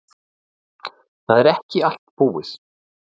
Það er ekki allt búið.